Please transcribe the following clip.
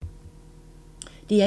DR1